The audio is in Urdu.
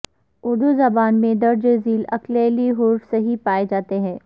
اردو زبان میں درج ذیل اکلیلی حروف صحیح پائے جاتے ہیں